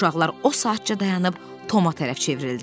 Uşaqlar o saatca dayanıb Toma tərəf çevrildilər.